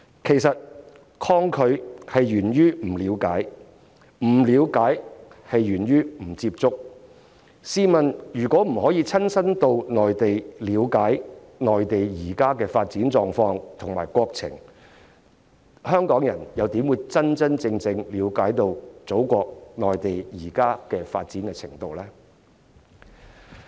其實抗拒源於不了解，不了解源於不接觸，試問如果不能親身到內地了解內地現時的發展狀況和國情，香港人怎會真正了解祖國內地現在發展的程度呢？